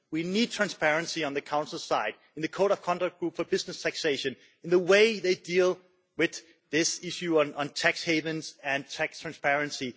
We need transparency on the Council side, in the Code of Conduct Group for Business Taxation, in the way they deal with this issue on tax havens and tax transparency.